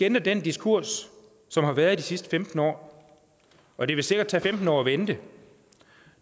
ændre den diskurs som har været de sidste femten år og det vil sikkert tage femten år at vende den